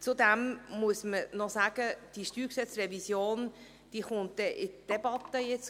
Zudem muss man sagen, dass diese StG-Revision demnächst debattiert wird.